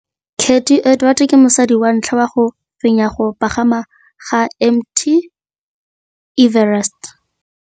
Cathy Odowd ke mosadi wa ntlha wa go fenya go pagama ga Mt Everest.